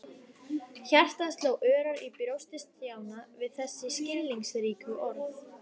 Hjartað sló örar í brjósti Stjána við þessi skilningsríku orð.